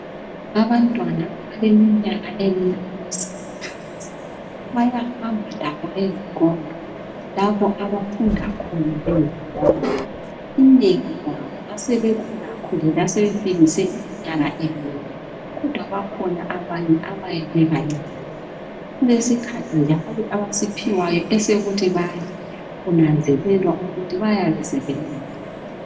Abantwana abaleminyaka emine bayahamba labo ezikolo lapho abafunda khona ezikolo inengi labo ngasebekhulakhulile asebefikise iminyaka emine kodwa bakhona abanye abayabe bebancinyane. Kulesikhathi njalo abasiphiwayo esokuthi badle kunanzelelwa ukuthi bayabe sebehambile.